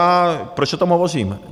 A proč o tom hovořím?